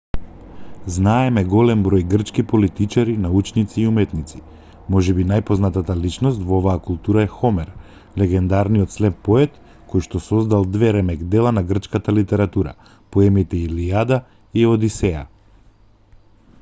знаеме голем број грчки политичари научници и уметници можеби најпознатата личност во оваа култура е хомер легендарниот слеп поет којшто создал две ремек-дела на грчката литература поемите илијада и одисеја